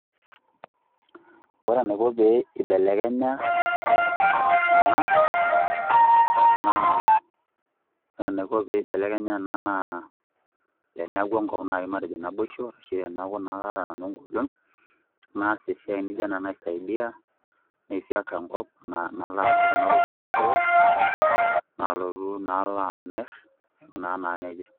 Ore enaiko pee ibelekenya ena naa, ore enaiko pee ibelekenya ena naa, teneeku enkop nai matejo naboisho, ashu teneeku naa kaata nanu egolon, naas esiai nijo ena naisaidia, naifyeka enkop, napik kuna kujit store, nalotu nalo amir, aikunaa naa nejia.